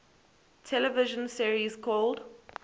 television series called